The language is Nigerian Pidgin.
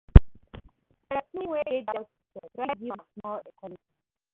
Pesin wey dey doubt imself try giv am small encouragement